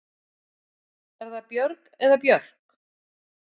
Er það Björg eða Björk?